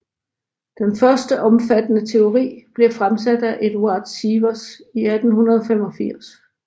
Den første omfattende teori blev fremsat af Eduard Sievers i 1885